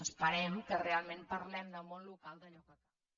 esperem que realment parlem del món lo·cal d’allò que